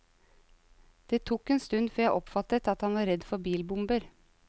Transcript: Det tok en stund før jeg oppfattet at han var redd for bilbomber.